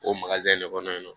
O de kɔnɔ yen nɔ